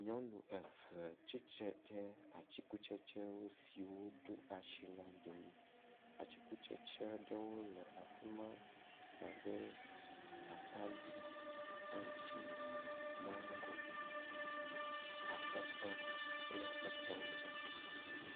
Nyɔnu eve tsitre ɖe atikutsetsewo siwo ɖo asi la ɖewo. Atikutsetsea ɖewo le afi ma abe; atadi, aŋtsi, mago, atɔtɔ kple etɔwo ene.